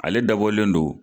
Ale dabɔlen don